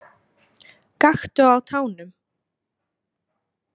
Gakktu á tánum.